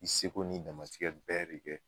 I seko n'i damatikɛ bɛɛ de kɛ